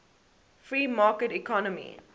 free market economy